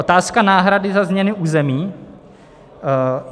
Otázka náhrady za změny území.